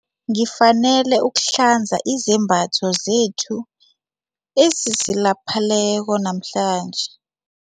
Ngifanele ukuhlanza izembatho zethu ezisilapheleko namhlanje.